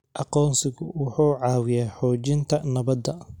Aqoonsigu wuxuu caawiyaa xoojinta nabadda.